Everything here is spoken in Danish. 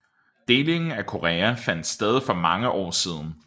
Delingen af Korea fandt sted for mange år siden